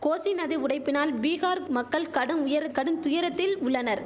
கோசி நதி உடைப்பினால் பீகார் மக்கள் கடும் உயரந் கடும் துயரத்தில் உள்ளனர்